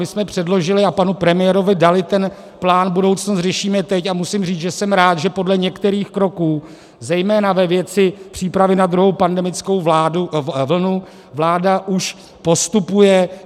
My jsme předložili a panu premiérovi dali ten plán Budoucnost řešíme teď a musím říci, že jsem rád, že podle některých kroků, zejména ve věci přípravy na druhou pandemickou vlnu, vláda už postupuje.